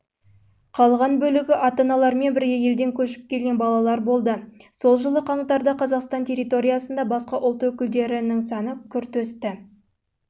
қалған бөлігі ата-аналарымен бірге елден көшіп келген балалар болды жылы қаңтарда қазақстан территориясында басқа ұлт өкілдері